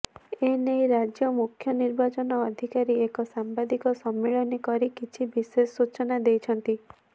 ଏ ନେଇ ରାଜ୍ୟ ମୁଖ୍ୟ ନିର୍ବାଚନ ଅଧିକାରୀ ଏକ ସାମ୍ବାଦିକ ସମ୍ମିଳନୀ କରି କିଛି ବିଶେଷ ସୂଚନା ଦେଇଛନ୍ତି